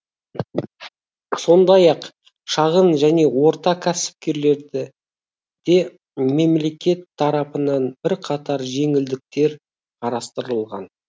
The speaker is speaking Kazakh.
сондай ақ шағын және орта кәсіпкерлерге де мемлекет тарапынан бірқатар жеңілдіктер қарастырылған